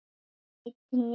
Einn í einu.